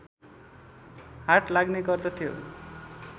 हाट लाग्ने गर्दथ्यो